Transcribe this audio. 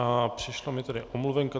A přišla mi tady omluvenka.